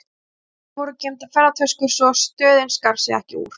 Í skápnum voru geymdar ferðatöskur, svo að stöðin skar sig ekki úr.